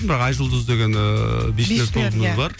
бірақ айжұлдыз деген ііі бишілер тобымыз бар